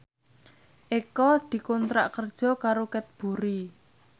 Eko dikontrak kerja karo Cadbury